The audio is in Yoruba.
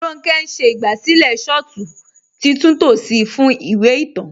Ronkẹ̀ n ṣẹ̀ igbásílẹ̀ shọ̀tù titúntò sí fún ìwé ìtàn.